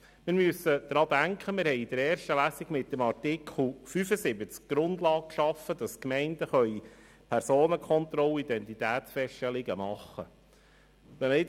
Wir müssen daran denken, dass wir in der ersten Lesung mit Artikel 75 die Grundlage geschaffen haben, damit die Gemeinden Personenkontrollen und Identitätsfeststellungen machen können.